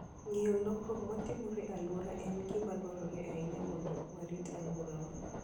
Ng'eyo lokruok matimore e alworawa en gima dwarore ahinya mondo warit alworawa.